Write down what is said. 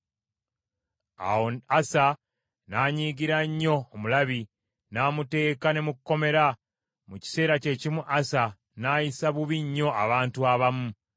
Awo Asa n’anyiigira nnyo omulabi, n’amuteeka ne mu kkomera. Mu kiseera kye kimu Asa n’ayisa bubi nnyo abantu abamu.